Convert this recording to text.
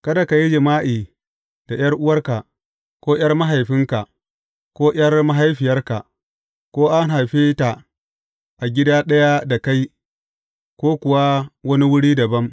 Kada ka yi jima’i da ’yar’uwarka, ko ’yar mahaifinka ko ’yar mahaifiyarka, ko an haife ta a gida ɗaya da kai ko kuwa a wani wuri dabam.